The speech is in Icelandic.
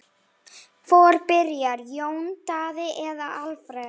Hvor byrjar, Jón Daði eða Alfreð?